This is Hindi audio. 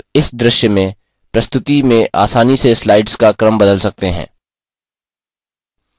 आप इस दृश्य की प्रस्तुति में आसानी से slides का क्रम बदल सकते हैं